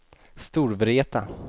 Storvreta